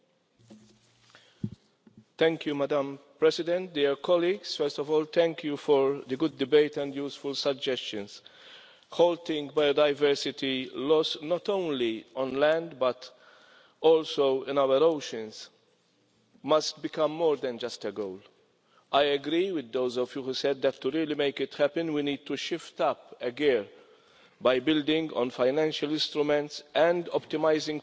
Madam President, first of all I would like to thank you for the good debate and useful suggestions. Halting biodiversity loss, not only on land but also in our oceans, must become more than just a goal. I agree with those of you who said that to really make it happen, we need to shift up a gear by building on financial instruments and optimising policies such as development aid